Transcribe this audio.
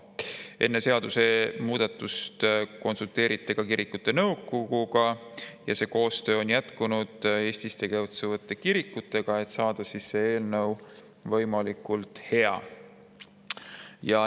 Enne seadusemuudatust konsulteeriti ka kirikute nõukoguga ning see koostöö on jätkunud Eestis tegutsevate kirikutega selle nimel, et see eelnõu saaks võimalikult hea.